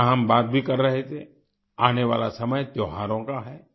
जैसा हम बात भी कर रहे थे आने वाला समय त्यौहारों का है